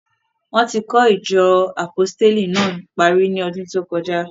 Wọ́n ti kọ́ ìjọ Àpọsítélì náà parí ní ọdún tó kọjá.